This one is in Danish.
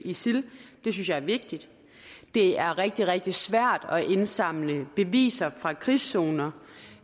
isil det synes jeg er vigtigt det er rigtig rigtig svært at indsamle beviser fra krigszoner